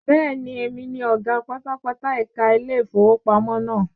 Bẹ́ẹ̀ni, èmi ni ọ̀gá pátápátá ẹ̀ka ilé ìfowópamọ́ náà.